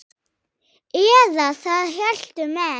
Eða það héldu menn.